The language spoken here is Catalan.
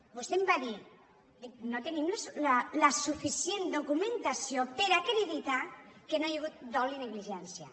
vostè em va dir no tenim la suficient documentació per acreditar que no hi ha hagut dol i negligència